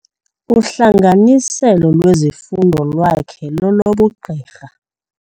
Uhlanganiselo lwezifundo lwakhe lolobugqirha.